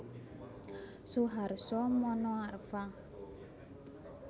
Suharso Monoarfa